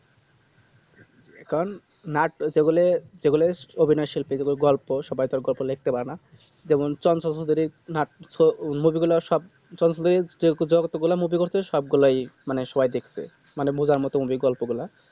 কারণ নাটক গুলো যেগুলো অভিনয় শিল্প গুলো গল্প সবাই তো সবাই তো গল্প লিখতে পারেনা যেমন চঞ্চল দাস এর যত গুলি movie করেছে সব গুলাই মনে সবাই দেখছে মানে বোবার মতো ওই গল্প গুলা